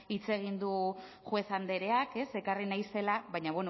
hitz egin du juez andreak ekarri nahi zela baina